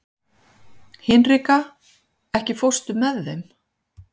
Hinrika, ekki fórstu með þeim?